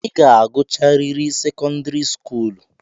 I ga-agụcharịrị sekọndịrị skuulu!